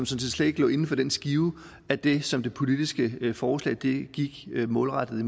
set slet ikke lå inden for den skive af det som det politiske forslag gik målrettet